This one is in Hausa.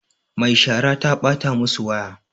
Mai shara ta ɓata masu waya